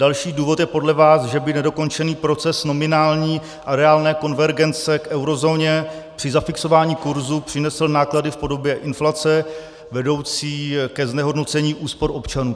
Další důvod je podle vás, že by nedokončený proces nominální a reálné konvergence k eurozóně při zafixování kursu přinesl náklady v podobě inflace vedoucí ke znehodnocení úspor občanů.